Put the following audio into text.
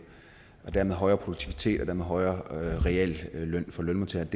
og dermed højere produktivitet og dermed en højere realløn for lønmodtagerne